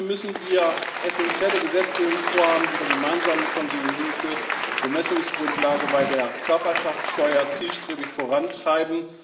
Dafür müssen wir essenzielle Gesetzgebungsvorhaben wie die gemeinsame konsolidierte Bemessungsgrundlage bei der Körperschaftsteuer zielstrebig vorantreiben.